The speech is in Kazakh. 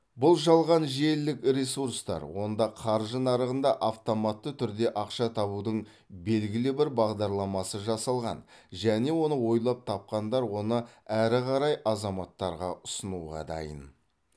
бұл жалған желілік ресурстар онда қаржы нарығында автоматты түрде ақша табудың белгілі бір бағдарламасы жасалған және оны ойлап тапқандар оны әрі қарай азаматтарға ұсынуға дайын